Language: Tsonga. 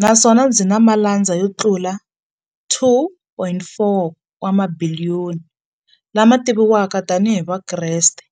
naswona byi na malandza yo tlula 2.4 wa mabiliyoni, la ma tiviwaka tani hi Vakreste.